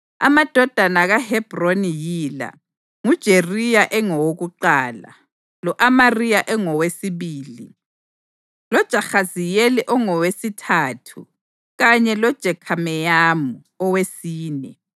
Amadodana kaHebhroni yila: nguJeriya engowokuqala, lo-Amariya engowesibili, loJahaziyeli engowesithathu kanye loJekhameyamu owesine.